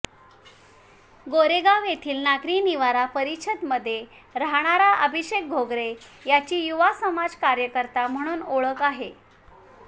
गोरेगाव येथील नागरी निवारा परिषदमध्ये राहणारा अभिषेक घोगरे याची युवा समाजकार्यकर्ता म्हणून ओळख आहे